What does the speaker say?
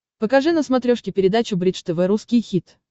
покажи на смотрешке передачу бридж тв русский хит